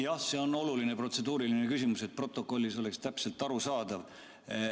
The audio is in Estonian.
Jah, see on oluline protseduuriline küsimus, et protokollis oleks täpselt arusaadav.